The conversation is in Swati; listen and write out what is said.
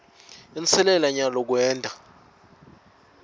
inselela nyalo kwenta